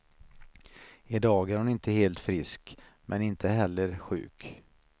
I dag är hon inte helt frisk, men inte heller sjuk.